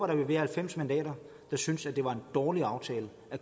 der vil være halvfems mandater der synes det var en dårlig aftale